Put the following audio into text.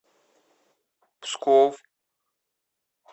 псков